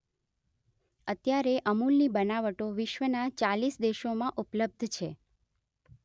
અત્યારે અમૂલની બનાવટો વિશ્વના ચાલીસ દેશોમાં ઉપલબ્ધ છે